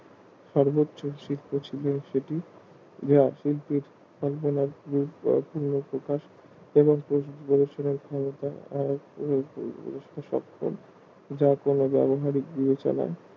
সর্বোচ্চ যা শিল্প মাত্র এবং গবেষণার সেটি যা কোনো ব্যাবহারিক বিবেচনা